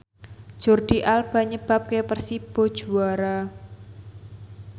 Jordi Alba nyebabke Persibo juara